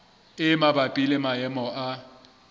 e mabapi le maemo a